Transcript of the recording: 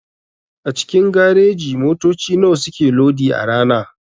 A cikin gareji motoci nawa suke lodi a rana?